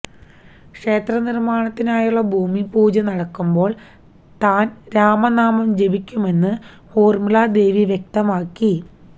ക്ഷേത്ര നിര്മാണത്തിനായുള്ള ഭൂമി പൂജ നടക്കുമ്പോള് താന് രാമനാമം ജപിക്കുമെന്ന് ഊര്മിളാ ദേവി വ്യക്തമാക്കി